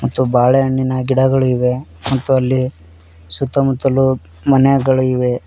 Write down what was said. ಮತ್ತು ಬಾಳೆಹಣ್ಣಿನ ಗಿಡಗಳಿವೆ ಮತ್ತು ಅಲ್ಲಿ ಸುತ್ತ ಮುತ್ತಲು ಮನೆಗಳು ಇವೆ.